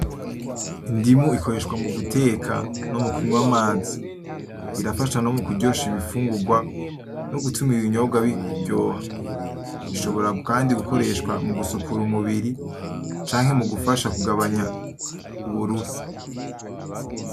Indimu ikoreshwa muguteka no mukunwa amazi. Irafasha no mukuryosha ibifungurwa no gutuma ibinyobwa biryoha. Ishobora Kandi gukoreshwa mugusukura umubiri canke mugufasha kugabanya uburuhe